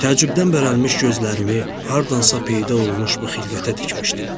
Təəccübdən bərəlmiş gözlərimi hardansa peyda olmuş bu xilqətə dikmişdim.